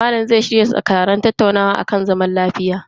Malam zai shirya taron tattaunawa akan batun amfanin zaman lafiya.